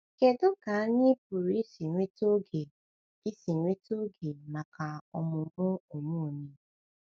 Kedu ka anyị pụrụ isi nweta oge isi nweta oge maka ọmụmụ onwe onye?